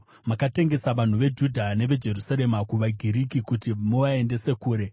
Makatengesa vanhu veJudha neveJerusarema kuvaGiriki kuti muvaendese kure.